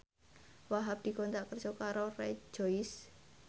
Wahhab dikontrak kerja karo Rejoice